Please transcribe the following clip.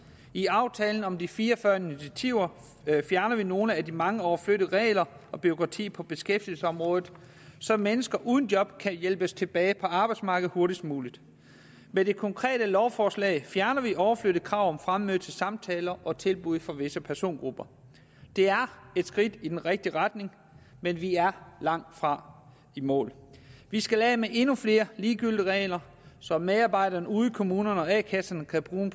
i aftalen om de fire og fyrre initiativer fjerner vi nogle af de mange overflødige regler og bureaukrati på beskæftigelsesområdet så mennesker uden job kan hjælpes tilbage på arbejdsmarkedet hurtigst muligt med det konkrete lovforslag fjerner vi overflødige krav om fremmøde til samtaler og tilbud for visse persongrupper det er et skridt i den rigtige retning men vi er langtfra i mål vi skal af med endnu flere ligegyldige regler så medarbejderne ude i kommunerne og a kasserne kan bruge